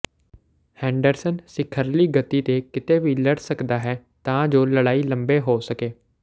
Henderson ਸਿਖਰਲੀ ਗਤੀ ਤੇ ਕਿਤੇ ਵੀ ਲੜ ਸਕਦਾ ਹੈ ਤਾਂ ਜੋ ਲੜਾਈ ਲੰਮੇ ਹੋ ਸਕੇ